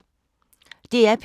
DR P2